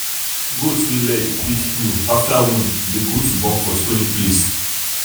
if we use our local ways train animals dem go survive well with local food and leaf medicine.